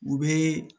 U bɛ